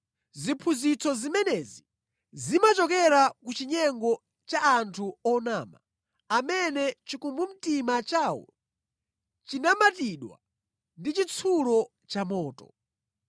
Ziphunzitso zimenezi zimachokera ku chinyengo cha anthu onama, amene chikumbumtima chawo chinamatidwa ndi chitsulo cha moto.